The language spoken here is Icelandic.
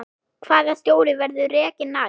Hvaða stjóri verður rekinn næst?